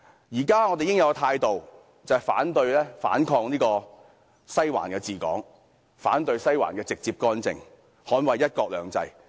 現時我們應有的態度是，反對、反抗"西環治港"，反對"西環"直接干政，捍衞"一國兩制"。